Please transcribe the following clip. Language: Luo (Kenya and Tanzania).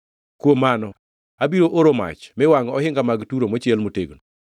kuom mano abiro oro mach mi wangʼ ohinga mag Turo mochiel motegno.”